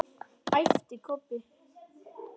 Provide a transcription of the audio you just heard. æpti Kobbi.